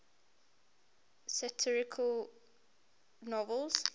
satirical novels